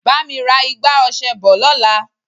Bá mi ra igbá ọṣẹ bọ̀ lọ́la.